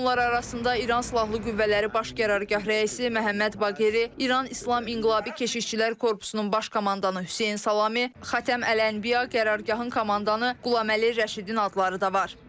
Onlar arasında İran Silahlı Qüvvələri Baş Qərargah rəisi Məhəmməd Baqiri, İran İslam İnqilabı Keşikçilər Korpusunun baş komandanı Hüseyn Salami, Xatəm Əl-Ənbiya qərargahın komandanı Qulaməli Rəşidin adları da var.